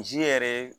Zi yɛrɛ